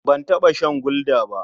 Ban taɓa shan Gulda ba.